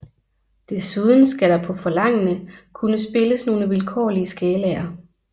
Desuden skal der på forlangende kunne spilles nogle vilkårlige skalaer